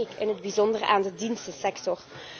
Dan denk ik in het bijzonder aan de dienstensector.